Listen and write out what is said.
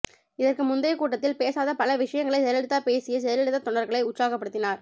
இதற்கு முந்தைய கூட்டத்தில் பேசாத பல விசயங்களை ஜெயலலிதா பேசிய ஜெயலலிதா தொண்டர்களை உற்சாகப்படுத்தினார்